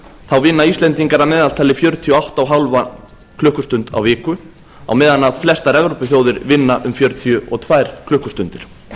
þá vinna íslendingar að meðaltali fjörutíu og átta og hálfa klukkustund á viku á meðan flestar evrópuþjóðir vinna um fjörutíu og tvær klukkustundir það